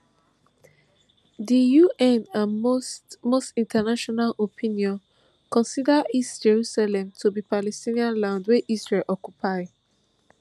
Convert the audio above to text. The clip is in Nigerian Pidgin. di un and most most international opinion consider east jerusalem to be palestinian land wey israel occupy